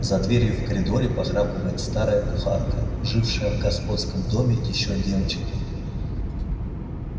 за дверью в коридоре похрапывает старая кухарка жившая в господском доме ещё девочка